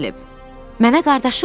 Mənə qardaşım dedi.